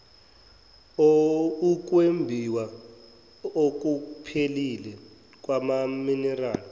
ukwembiwa okuphephile kwamaminerali